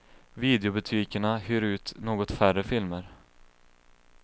Videobutikerna hyr ut något färre filmer.